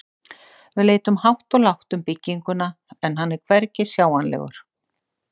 Við leitum hátt og lágt um bygginguna, en hann er hvergi sjáanlegur.